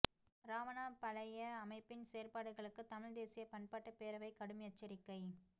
இராவணா பலய அமைப்பின் செயற்பாடுகளுக்கு தமிழ் தேசிய பண்பாட்டுப் பேரவை கடும் எச்சரிக்கை